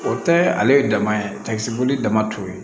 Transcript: O tɛ ale ye dama ye dama t'o ye